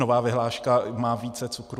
Nová vyhláška má více cukru?